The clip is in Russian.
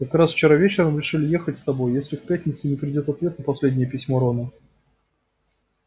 как раз вчера вечером решили ехать с тобой если к пятнице не придёт ответ на последнее письмо рона